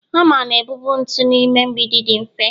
hama na-ebuba ntu n'ime mgbidi dị mfe